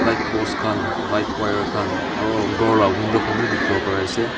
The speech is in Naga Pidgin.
lightpost khan light wire khan aro ghor la window khan wi dikhiwo pari ase.